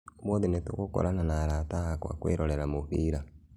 Ũmũthi nĩtũgũkorana na arata akwa kũĩrorera mũbĩra